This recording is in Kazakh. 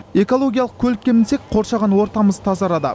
экологиялық көлікке мінсек қоршаған ортамыз тазарады